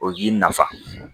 O yi nafa